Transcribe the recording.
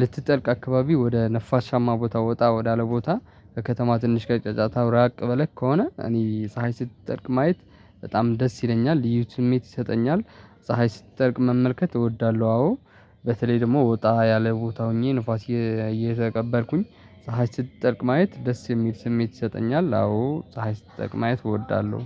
ልትጠልቅ አካባቢ ወደ ነፋሻማ ቦታ ወጣ ወዳለ ቦታ ከከተማ ትንሽ ከጫጫታ ብራቅ በለቅ ከሆነ እኔ ፀሀይ ስትጠርቅ ማየት በጣም ደስ ይለኛል ልዩ ስሜት ይሰጠኛል። ፀሀይ ስትጠልቅ መመልከት እወዳለሁ አዎ። በተለይ ደግሞ ወጣ ያለ ቦታ ሆኜ ንፋስ ፀሀይ ስትጠርቅ ማየት ደስ የሚል ስሜት ይሰጠኛል። አዎ ፀሀይ ስትጠርቅ ማየት እወዳለሁ